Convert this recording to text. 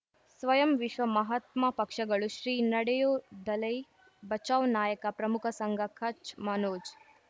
ಸ್ವಯಂ ವಿಶ್ವ ಮಹಾತ್ಮ ಪಕ್ಷಗಳು ಶ್ರೀ ನಡೆಯೂ ದಲೈ ಬಚೌ ನಾಯಕ ಪ್ರಮುಖ ಸಂಘ ಕಚ್ ಮನೋಜ್